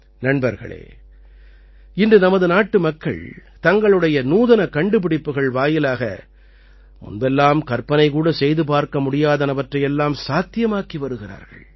நண்பர்களே இன்று நமது நாட்டுமக்கள் தங்களுடைய நூதனக் கண்டுபிடிப்புகள் வாயிலாக முன்பெல்லாம் கற்பனை கூட செய்து பார்க்க முடியாதனவற்றை எல்லாம் சாத்தியமாக்கி வருகிறார்கள்